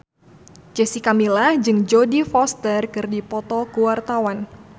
Jessica Milla jeung Jodie Foster keur dipoto ku wartawan